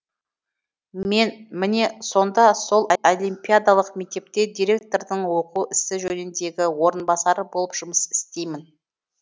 мен міне сонда сол олимпиадалық мектепте директордың оқу ісі жөніндегі орынбасары болып жұмыс істеймін